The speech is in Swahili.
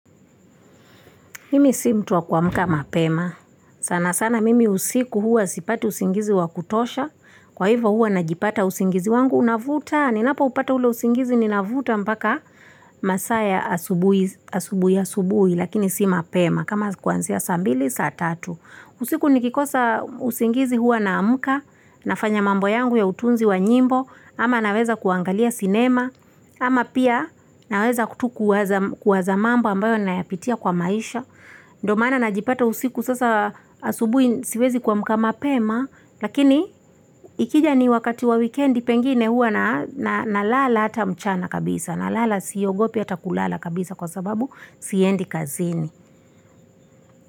Mimi si mtu wa kuamka mapema sana sana mimi usiku hua sipati usingizi wa kutosha kwa ivo hua najipata usingizi wangu navuta ninapo upata ule usingizi nina vuta mpaka masaa ya asubuhi asubuhi asubuhi lakini si mapema kama kuanzia saa mbili saa tatu usiku ni kikosa usingizi hua naamka nafanya mambo yangu ya utunzi wa nyimbo ama naweza kuangalia sinema ama pia naweza tu kuwaza kuwazq mambo ambayo naya pitia kwa maisha ndo maana na jipata usiku sasa asubuhi siwezi kuamka mapema lakini ikija ni wakati wa wikendi pengine hua na na nalala ata mchana kabisa nalala siogopi ata kulala kabisa kwa sababu siendi kazini.